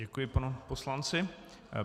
Děkuji panu poslanci.